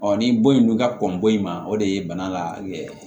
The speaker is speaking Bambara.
ni bon in dun ka kɔn bɔ in ma o de ye bana la